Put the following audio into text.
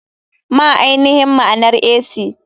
Ma ainihin maanar ac?